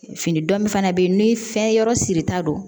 Fini dɔn min fana bɛ ye ni fɛnyɔrɔ sirita don